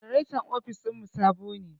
Janaretan ofis ɗin mu sabo ne.